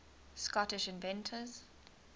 scottish inventors